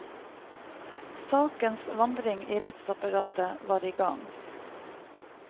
Sakens vandring i rettsapparatet var i gang.